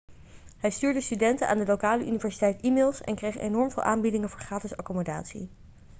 hij stuurde studenten aan de lokale universiteit e-mails en kreeg enorm veel aanbiedingen voor gratis accommodatie